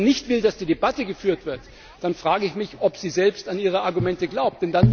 kann. Wenn sie aber nicht will, dass die Debatte geführt wird, dann frage ich mich, ob sie selbst an ihre Argumente glaubt.